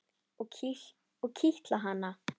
Og kitla hana.